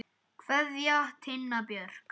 Kveðja, Tinna Björk.